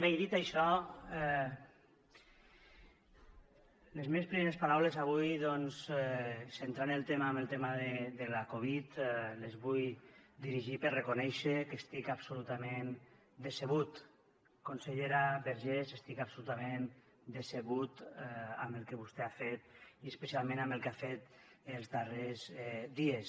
bé i dit això les meves primeres paraules avui doncs centrant el tema amb el tema de la covid les vull dirigir per reconèixer que estic absolutament decebut consellera vergés estic absolutament decebut amb el que vostè ha fet i especialment amb el que ha fet els darrers dies